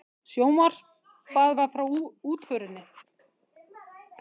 Sjónvarpað frá útförinni